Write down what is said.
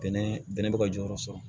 Bɛnɛ bɛnɛ bɛ ka jɔyɔrɔ sɔrɔ